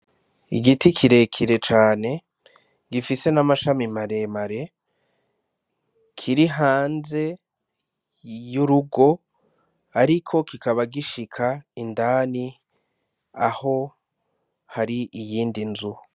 Igiti kirekire cane, gifise n'amashami maremare, kiri hanze y'urugo, ariko kikaba gishika indani aho hari iyindi nzu.